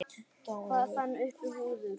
Hver fann upp húðflúr?